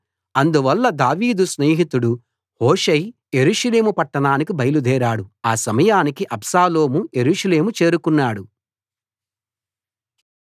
అందువల్ల దావీదు స్నేహితుడు హూషై యెరూషలేము పట్టణానికి బయలుదేరాడు ఆ సమయానికి అబ్షాలోము యెరూషలేము చేరుకున్నాడు